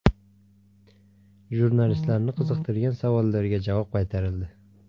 Jurnalistlarni qiziqtirgan savollarga javob qaytarildi.